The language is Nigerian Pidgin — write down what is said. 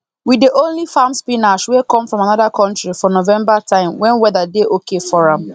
we dey only farm spinach wey come from another country for november time when weather dey okay for am